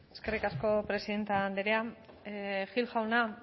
eskerrik asko presidente andrea gil jauna